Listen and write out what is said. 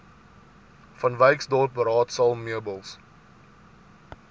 vanwyksdorp raadsaal meubels